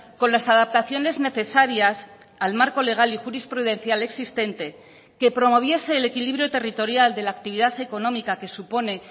con las adaptaciones necesarias al marco legal y jurisprudencial existente que promoviese el equilibrio territorial de la actividad económica que supone